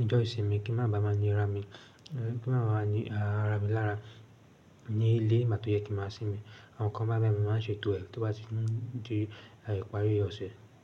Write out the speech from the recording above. ọjọ́ ìsinmi kí n máa bàá máa ní ra mi, eh, kí n máa bàá ní, ah, ra mi lára ní ilé ni gbá tó yẹ kí n máa sinmi. Àwọn nǹkan bái bai ni mo máa ń ṣètò ẹ̀ tí ó bá ti n di, ah, ìparí ọ̀sẹ̀.